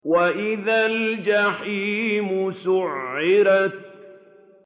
وَإِذَا الْجَحِيمُ سُعِّرَتْ